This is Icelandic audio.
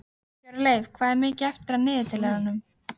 Hjörleif, hvað er mikið eftir af niðurteljaranum?